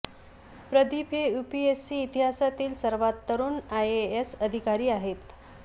प्रदीप हे यूपीएससी इतिहासातील सर्वात तरुण आयएएस अधिकारी आहेत